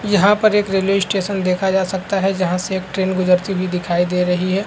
यहाँ पर एक रेलवे स्टेशन देखा जा सकता है जहाँ से एक ट्रेन गुजरती हुई दिखाई दे रही है।